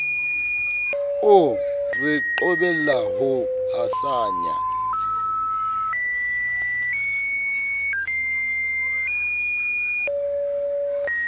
o re qobella ho hasanya